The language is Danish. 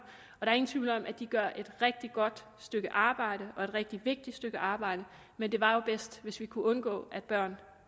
og der er ingen tvivl om at de gør et rigtig godt stykke arbejde og et rigtig vigtigt stykke arbejde men det var bedst hvis vi kunne undgå at børn